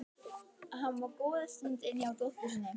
Hann var góða stund inni hjá dóttur sinni.